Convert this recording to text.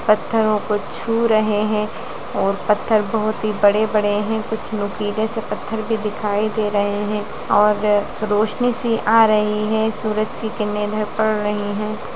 पत्थरों को छु रहे है और पत्थर बहुत ही बड़े बड़े हैं और कुछ नुकीले से पत्थर दिखाई दे रहे है और रोशनी सी आ रही है सूरज की किरणे इधर पड़ रही है।